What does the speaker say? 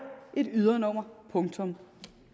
et ydernummer punktum